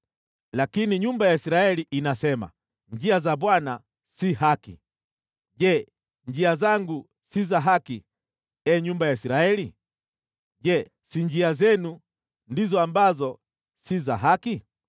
Lakini nyumba ya Israeli inasema, ‘Njia za Bwana si haki.’ Je, njia zangu si za haki, ee nyumba ya Israeli? Je, si njia zenu ndizo ambazo si za haki?”